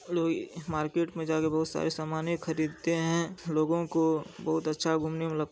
लोई मार्केट जाके बहुत सारे समाने खरीदते है। लोगो को बहुत अच्छा घूमने में लगता--